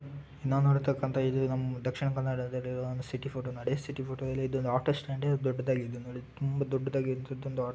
ನಾವು ನೋಡಿರ್ತಕಂತ ಇದು ನಮ್ ದಕ್ಷಿಣ ಕನ್ನಡದಲ್ಲಿರುವ ಒಂದು ಸಿಟಿ ಫೋಟೋ . ನೋಡಿ ಸಿಟಿ ಫೋಟೋ ಅಲ್ಲಿ ಇದು ಒಂದು ಆಟೋಸ್ಟಾಂಡ್ ದೊಡ್ದುದಗಿದೆ ನೋಡಿ ತುಂಬಾ ದೊದ್ದುದಾದ ಆಟೋ --